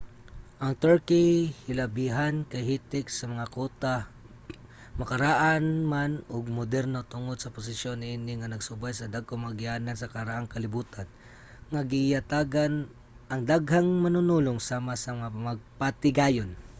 ang turkey hilabihan kahitik sa mga kuta makaraan man ug moderno tungod sa posisyon niini nga nagsubay sa dagkong mga agianan sa karaang kalibutan nga giyatagan ang daghang manunulong sama sa mga magpatigayon